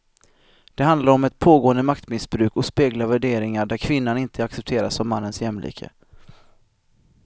Det handlar om ett pågående maktmissbruk och speglar värderingar där kvinnan inte accepteras som mannens jämlike.